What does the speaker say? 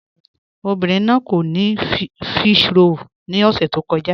Obìnrin náà kò ní físhròl ni ọ̀ṣẹ̀ tó kọ̀ja